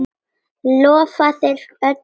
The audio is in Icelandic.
Lofaðir öllu fögru!